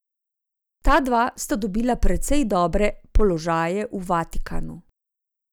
Ta dva sta dobila precej dobre položaje v Vatikanu.